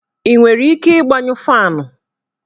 I nwere ike ịgbayụ faanụ?